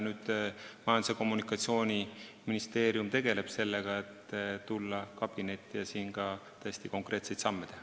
Nüüd Majandus- ja Kommunikatsiooniministeerium tegeleb sellega, et tulla kabinetti ja täiesti konkreetseid samme teha.